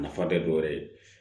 A nafa tɛ dɔ wɛrɛ ye